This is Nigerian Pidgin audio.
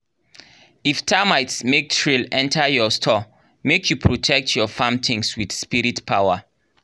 if termites make trail enter your store make you protect your farm things with spirit power.